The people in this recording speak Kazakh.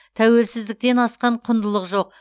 тәуелсіздіктен асқан құндылық жоқ